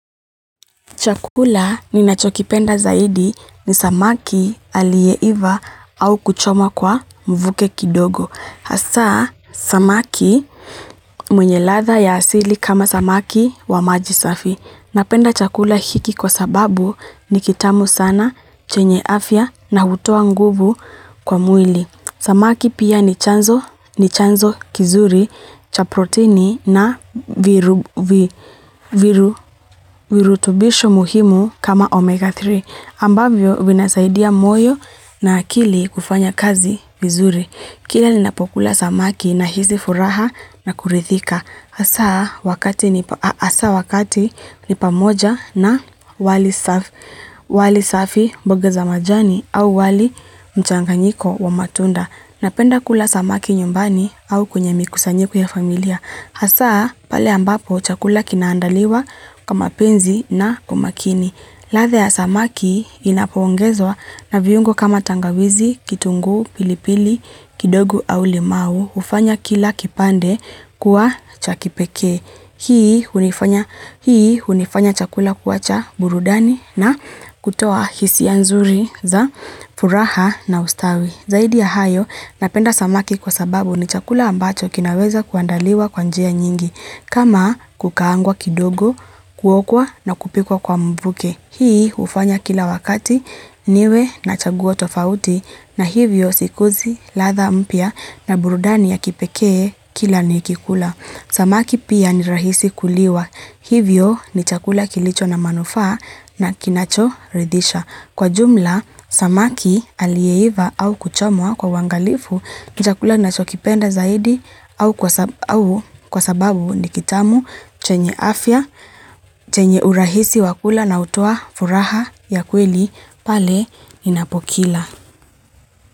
Chakula ninachokipenda zaidi ni samaki aliyeiva au kuchoma kwa mvuke kidogo. Hasa, samaki mwenye ladha ya asili kama samaki wa majisafi. Napenda chakula hiki kwa sababu ni kitamu sana, chenye afya na hutoa nguvu kwa mwili. Samaki pia ni chanzo kizuri cha proteini na virutubisho muhimu kama omega 3, ambavyo vinasaidia moyo na akili kufanya kazi vizuri. Kile ninapokula samaki nahisi furaha na kurithika. Hasa wakati ni pamoja na wali safi mboga za majani au wali mchanganyiko wa matunda. Napenda kula samaki nyumbani au kwenye mikusanyiko ya familia. Hasa pale ambapo chakula kinaandaliwa kwa mapenzi na kwa makini. Ladha ya samaki inapoongezwa na viungo kama tangawizi, kitungu, pilipili, kidogu au limau hufanya kila kipande kuwa cha kipekee. Hii hunifanya chakula kuwacha burudani na kutoa hisia nzuri za furaha na ustawi. Zaidi ya hayo, napenda samaki kwa sababu ni chakula ambacho kinaweza kuandaliwa kwa njia nyingi, kama kukaangwa kidogo, kuokwa na kupikwa kwa mvuke. Hii hufanya kila wakati, niwe na chaguo tofauti, na hivyo sikuzi, ladha mpya na burudani ya kipekee kila nikikula. Samaki pia ni rahisi kuliwa, hivyo ni chakula kilicho na manufaa na kinachoridhisha. Kwa jumla, samaki aliyeiva au kuchomwa kwa uwangalifu, ni chakula ninachokipenda zaidi au kwa sababu ni kitamu chenye afya, chenye urahisi wa kula na hutoa furaha ya kweli pale ninapokila.